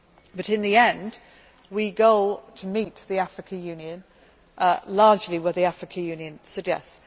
But in the end, we go to meet the African Union largely where the African Union suggests.